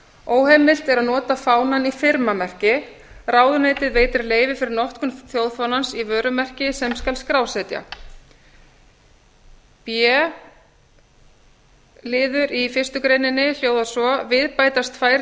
óheimilt er að nota fánann í firmamerki ráðuneytið veitir leyfi fyrir notkun þjóðfánans í vörumerki sem skal skrásetja b liður í fyrstu grein hljóðar svo við bætast tvær